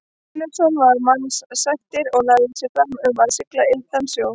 Einarsson var mannasættir og lagði sig fram um að sigla lygnan sjó.